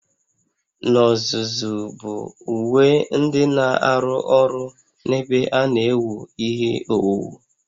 N'ozuzu bụ uwe ndị na-arụ ọrụ n'ebe a na-ewu ihe owuwu